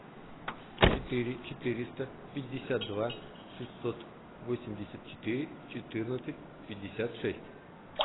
четыре четыреста пятьдесят два шестьсот восемьдесят четыре четырнадцать пятьдесят шесть